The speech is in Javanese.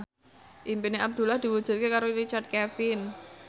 impine Abdullah diwujudke karo Richard Kevin